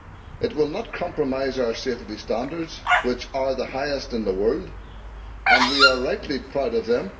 It will not compromise our safety standards, which are the highest in the world, and we are rightly proud of them.